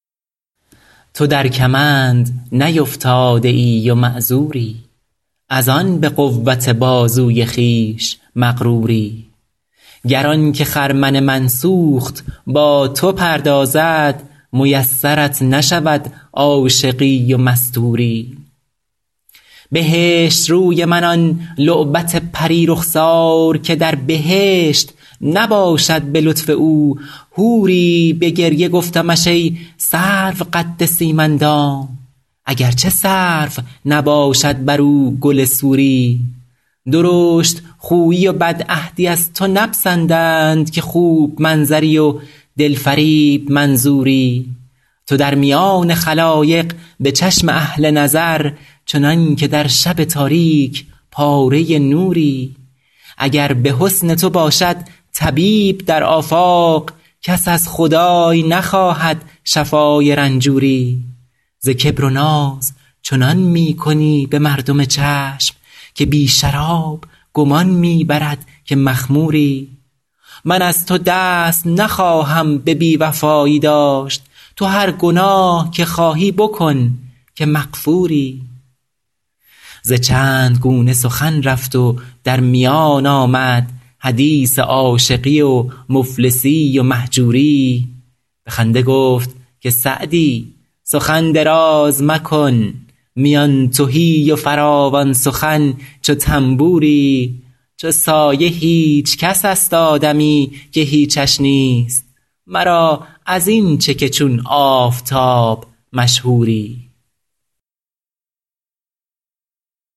تو در کمند نیفتاده ای و معذوری از آن به قوت بازوی خویش مغروری گر آن که خرمن من سوخت با تو پردازد میسرت نشود عاشقی و مستوری بهشت روی من آن لعبت پری رخسار که در بهشت نباشد به لطف او حوری به گریه گفتمش ای سرو قد سیم اندام اگر چه سرو نباشد بر او گل سوری درشت خویی و بدعهدی از تو نپسندند که خوب منظری و دل فریب منظوری تو در میان خلایق به چشم اهل نظر چنان که در شب تاریک پاره نوری اگر به حسن تو باشد طبیب در آفاق کس از خدای نخواهد شفای رنجوری ز کبر و ناز چنان می کنی به مردم چشم که بی شراب گمان می برد که مخموری من از تو دست نخواهم به بی وفایی داشت تو هر گناه که خواهی بکن که مغفوری ز چند گونه سخن رفت و در میان آمد حدیث عاشقی و مفلسی و مهجوری به خنده گفت که سعدی سخن دراز مکن میان تهی و فراوان سخن چو طنبوری چو سایه هیچ کس است آدمی که هیچش نیست مرا از این چه که چون آفتاب مشهوری